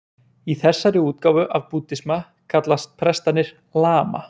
Í þessari útgáfu af búddisma kallast prestarnir lama.